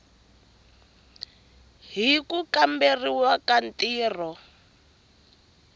hi ku kamberiwa ka ntirho